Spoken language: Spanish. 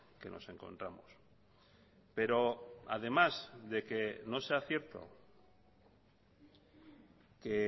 que nos encontramos pero además de que no sea cierto que